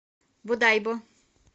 бодайбо